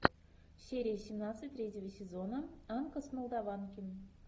серия семнадцать третьего сезона анка с молдованки